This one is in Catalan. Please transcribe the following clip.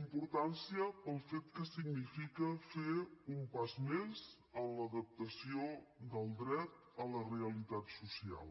importància pel fet que significa fer un pas més en l’adaptació del dret a la realitat social